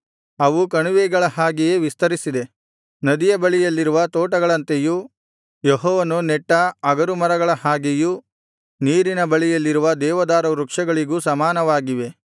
ಅವು ಕಣಿವೆಗಳ ಹಾಗೆಯೇ ವಿಸ್ತರಿಸಿದೆ ನದಿಯ ಬಳಿಯಲ್ಲಿರುವ ತೋಟಗಳಂತೆಯೂ ಯೆಹೋವನು ನೆಟ್ಟ ಅಗರು ಮರಗಳ ಹಾಗೆಯೂ ನೀರಿನ ಬಳಿಯಲ್ಲಿರುವ ದೇವದಾರುವೃಕ್ಷಗಳಿಗೂ ಸಮಾನವಾಗಿವೆ